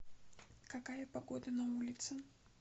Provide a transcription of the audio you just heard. какая погода на улице